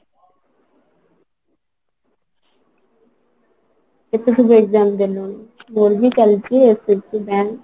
କେତେ ସବୁ exam ଦେଲୁଣି? ମୋର ବି ଚାଲିଛି SSC bank